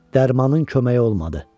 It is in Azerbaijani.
Dərmanın köməyi olmadı.